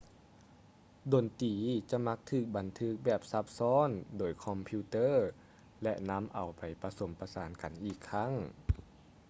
ດົນຕີຈະມັກຖືກບັນທຶກແບບຊັບຊ້ອນໂດຍຄອມພິວເຕີ້ ແລະ ນຳເອົາໄປປະສົມປະສານກັນອີກຄັ້ງ